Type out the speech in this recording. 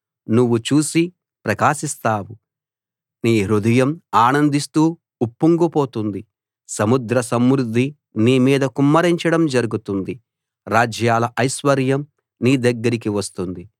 నువ్వు చూసి ప్రకాశిస్తావు నీ హృదయం ఆనందిస్తూ ఉప్పొంగుతుంది సముద్ర సమృద్ధి నీ మీద కుమ్మరించడం జరుగుతుంది రాజ్యాల ఐశ్వర్యం నీ దగ్గరికి వస్తుంది